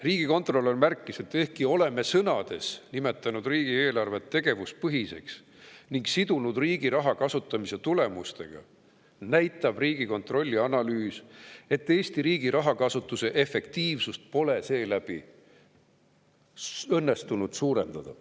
Riigikontrolör märkis, et ehkki me oleme sõnades nimetanud riigieelarvet tegevuspõhiseks ning sidunud riigi raha kasutamise tulemustega, näitab Riigikontrolli analüüs, et Eesti riigi rahakasutuse efektiivsust pole õnnestunud seeläbi suurendada.